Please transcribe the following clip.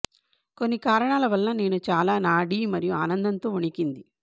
కొన్ని కారణాల వలన నేను చాలా నాడీ మరియు ఆనందంతో వణికింది